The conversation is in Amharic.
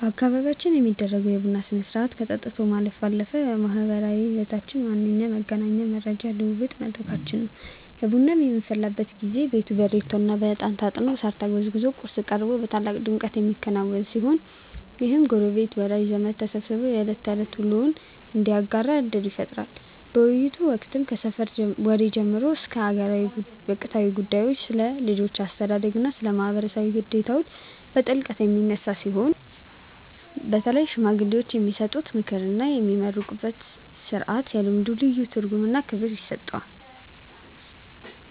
በአካባቢያችን የሚደረገው የቡና ሥርዓት ከጠጥቶ ማለፍ ባለፈ የማኅበራዊ ሕይወታችን ዋነኛ መገኛውና የመረጃ ልውውጥ መድረካችን ነው። ቡናው በሚፈላበት ጊዜ ቤቱ በሬቶና በዕጣን ታጥኖ፣ ሳር ተጎዝጉዞና ቁርስ ቀርቦ በታላቅ ድምቀት የሚከናወን ሲሆን፣ ይህም ጎረቤትና ወዳጅ ዘመድ ተሰባስቦ የዕለት ተዕለት ውሎውን እንዲያጋራ ዕድል ይፈጥራል። በውይይቶች ወቅትም ከሰፈር ወሬ ጀምሮ ስለ አገር ወቅታዊ ጉዳዮች፣ ስለ ልጆች አስተዳደግና ስለ ማኅበራዊ ግዴታዎች በጥልቀት የሚነሳ ሲሆን፣ በተለይም ሽማግሌዎች የሚሰጡት ምክርና የሚመረቅበት ሥርዓት ለልምዱ ልዩ ትርጉምና ክብር ይሰጠዋል።